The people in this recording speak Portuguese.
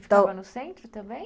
E ficava no centro também?